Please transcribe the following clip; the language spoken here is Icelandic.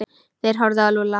Þeir horfðu á Lúlla.